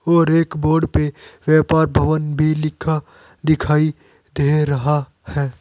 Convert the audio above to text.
और एक बोर्ड पे व्यापार भवन भी लिखा दिखाई दे रहा है।